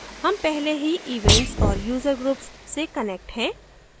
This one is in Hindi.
हम पहले ही events और user groups से connected है